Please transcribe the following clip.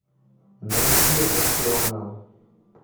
найди это все она